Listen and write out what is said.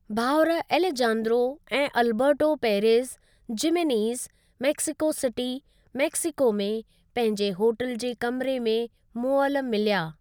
भाउर एलेजांद्रो ऐं Alberto Perez Jimenez Mexico City, Mexico में पंहिंजे होटल जे कमिरे में मुअल मिलया।